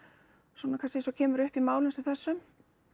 svona kannski eins og kemur upp í málum sem þessu